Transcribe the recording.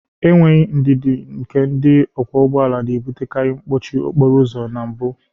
Enweghị ndidi nke ndị ọkwọ ụgbọala na-ebutekarị mkpọchi okporo ụzọ na mbụ